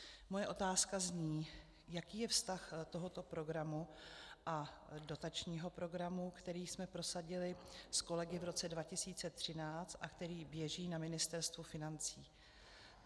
Moje otázka zní, jaký je vztah tohoto programu a dotačního programu, který jsme prosadili s kolegy v roce 2013 a který běží na Ministerstvu financí.